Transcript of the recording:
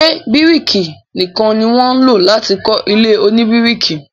Ṣé bíríkì nìkan ni wọ́n ń lọ láti kọ́ ilé oníbíríkì.